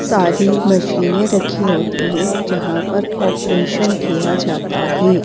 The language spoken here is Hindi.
सारी मशीनें रखी होती है जहां पर ऑपरेशन किया जाता है।